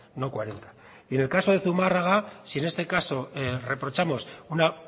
en el caso de zumárraga si en este caso reprochamos una